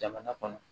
Jamana kɔnɔ